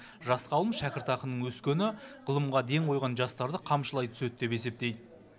жас ғалым шәкіртақының өскені ғылымға ден қойған жастарды қамшылай түседі деп есептейд